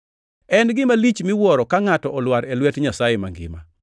En gima lich miwuoro ka ngʼato olwar e lwet Nyasaye mangima!